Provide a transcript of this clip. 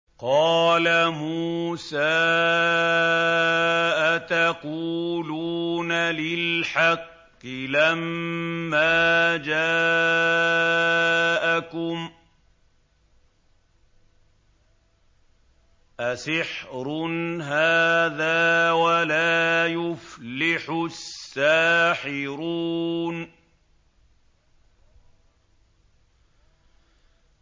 قَالَ مُوسَىٰ أَتَقُولُونَ لِلْحَقِّ لَمَّا جَاءَكُمْ ۖ أَسِحْرٌ هَٰذَا وَلَا يُفْلِحُ السَّاحِرُونَ